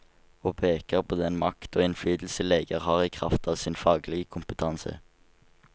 Og peker på den makt og innflytelse leger har i kraft av sin faglige kompetanse.